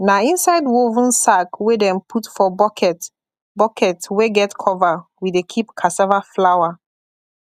na inside woven sack wey dem put for bucket bucket wey get cover we dey keep cassava flour